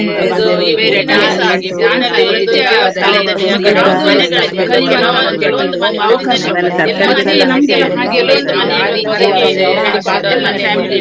ನಮ್ಮಒಂದು ಆ participate ನಾವು ಕೊಟ್ಟಿದ್ದೇವೆ ಬೇರೆ. ನಾವು ಪ್ರಥಮ prize ಸಾ ಬ~ ಪ್ರಥಮ ಒಂದು ತಕೊಂಡು ಬಹುಮಾನವನ್ನು ತಕೊಂಡ್ ಬಂದಿದ್ದೇವೆ ಅಲ್ಲಿಂದ. ಆ ನಾನು ಹೋದಂತ school ನಾನು ಬಾರ್ಕೂರಿನಲ್ಲಿ ಹೋದದ್ದು.